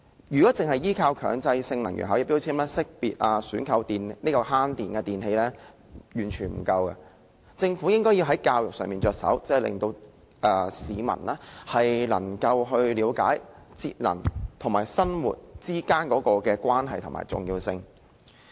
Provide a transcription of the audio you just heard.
如果單靠能源標籤來識別及選購節省用電的電器，是完全不足夠的，政府應從教育着手，令市民了解節能與生活之間的關係和重要性。